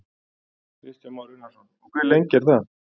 Kristján Már Unnarsson: Og hve lengi er það?